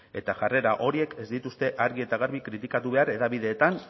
eta jarrera horiek ez dituzte argi eta garbi kritikatu behar hedabideetan